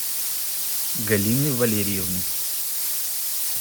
галины валериевны